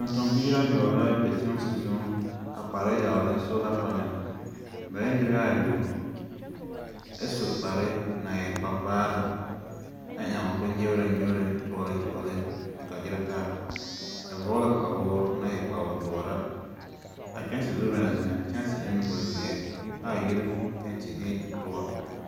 Tontombiiri ayoͻbo la be kyԑnse zuiŋ a kpaara yagelԑ sola panԑl. ba e ne nobԑԑ ayoͻbo ԑ su kpare naŋ e kpare-vaare, a eԑŋ a bonnyegenyegere kyoͻle kyoͻle a gyerԑtaa. Ba vͻge kpawoore naŋ e kpawoodõͻraa. A kyԑnse banaŋ zeŋ, a kyԑnse e na bozeԑ, aa yiri penti e dõͻre.